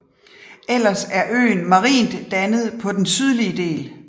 Ellers er øen marint dannet på den sydlige del